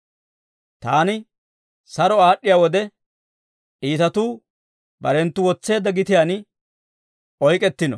Taan saro aad'd'iyaa wode, iitatuu barenttu wotseedda gitiyaan oyk'k'ettino.